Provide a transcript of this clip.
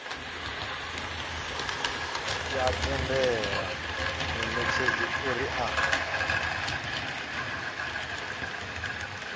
ya tendela munetshedzi uri a